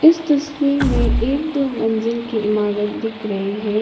इस तस्वीर में एक दो मंजिल की इमारत दिख रहें हैं।